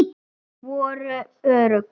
Voru örugg.